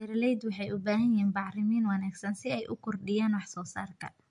Beeralayda waxay u baahan yihiin bacrimin wanaagsan si ay u kordhiyaan wax soo saarka.